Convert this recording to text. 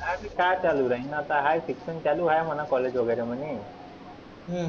काय ते काय चालु राहील आता आहे शिक्षण चालु हाय college वगैरे म्हणे.